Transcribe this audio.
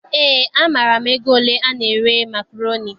Eé, amaara m ego ole ana ere makroni.